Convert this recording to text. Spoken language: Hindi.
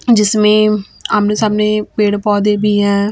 जिसमें आमने सामने पेड़ पौधे भी हैं।